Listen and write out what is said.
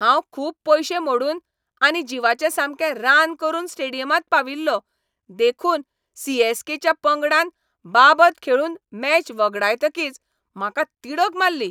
हांव खूब पयशे मोडून आनी जिवाचें सामकें रान करून स्टेडियमांत पाविल्लों, देखून सी. एस. के.च्या पंगडान बाबत खेळून मॅच वगडायतकीच म्हाका तिडक मारली.